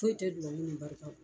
Foyi tɛ dubabu ni barika bɔ.